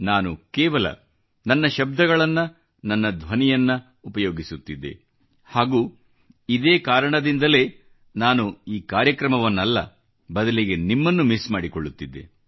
ನಾನು ಕೇವಲ ನನ್ನ ಶಬ್ದಗಳನ್ನ ನನ್ನ ಧ್ವನಿಯನ್ನು ಉಪಯೋಗಿಸುತ್ತಿದ್ದೆ ಹಾಗೂ ಇದೇ ಕಾರಣದಿಂದಲೇ ನಾನು ಈ ಕಾರ್ಯಕ್ರಮವನ್ನಲ್ಲ ಬದಲಿಗೆ ನಿಮ್ಮನ್ನು ಮಿಸ್ ಮಾಡಿಕೊಳ್ಳುತ್ತಿದ್ದೆ